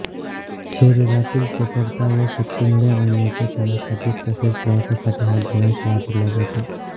शरीरातील चपळता व शक्तीमुळे ओढण्याच्या कामासाठीच तसेच प्रवासासाठी हा गोवंश वापरला जातो